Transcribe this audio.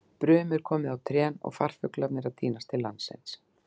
Brum er komið á trén og farfuglarnir eru að tínast til landsins.